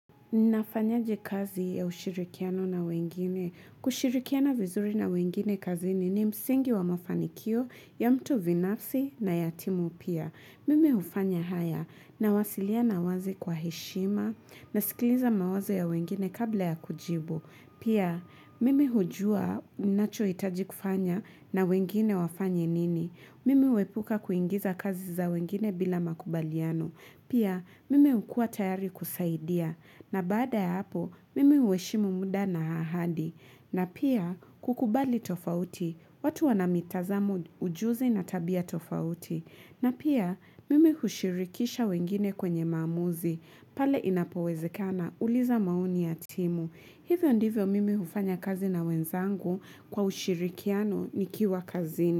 Nafanyaje kazi ya ushirikiano na wengine, kushirikiana vizuri na wengine kazini ni msingi wa mafanikio ya mtu binafsi na ya timu pia. Mimi ufanya haya na wasiliana wazi kwa heshima nasikiliza mawazo ya wengine kabla ya kujibu. Pia mimi hujua nachoitaji kufanya na wengine wafanya nini. Mimi huepuka kuingiza kazi za wengine bila makubaliano. Pia, mimi ukua tayari kusaidia. Nabaada ya hapo, mimi hueshimu muda na ahadi. Na pia, kukubali tofauti. Watu wanamitazamo ujuzi na tabia tofauti. Na pia, mimi hushirikisha wengine kwenye maamuzi. Pale inapowezekana uliza maoni ya timu. Hivyo ndivyo mimi hufanya kazi na wenzangu kwa ushirikiano nikiwa kazini.